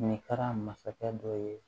Ɲininkara masakɛ dɔ ye